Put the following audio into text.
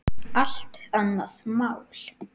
Allt annað mál.